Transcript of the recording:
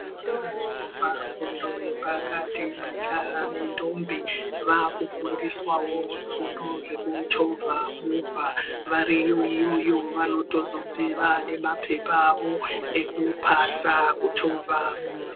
Zvikora zvinopa fundo yepakati yemajaha nendombi vaakufundiswawo zvifundo zvekuchovha movha . Variyo iyoyo vanozotobve vaanemaphepha awo ekupasa kuchovha movha.